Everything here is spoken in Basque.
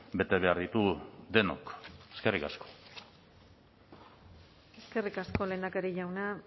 bete behar ditugu denok eskerrik asko eskerrik asko lehendakari jauna